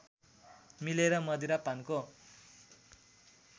मिलेर मदिरा पानको